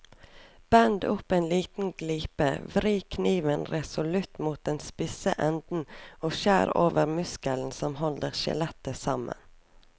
Bend opp en liten glipe, vri kniven resolutt mot den spisse enden og skjær over muskelen som holder skjellet sammen.